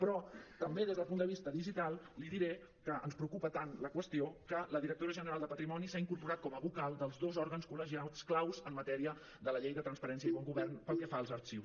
però també des del punt de vista digital li diré que ens preocupa tant la qüestió que la directora general de patrimoni s’ha incorporat com a vocal dels dos òrgans col·legiats claus en matèria de la llei de transparència i bon govern pel que fa als arxiu